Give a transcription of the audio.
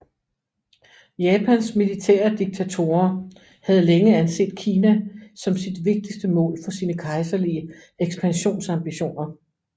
Japans militære diktatorer havde længe anset Kina som sit vigtigste mål for sine kejserlige ekspansionsambitioner